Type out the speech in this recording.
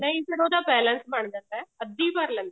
ਨਹੀਂ ਫਿਰ ਉਹਦਾ balance ਬਣ ਜਾਂਦਾ ਅੱਧੀ ਭਰ ਲੈਂਦਾ ਆ